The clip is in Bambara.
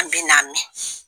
An bina mɛn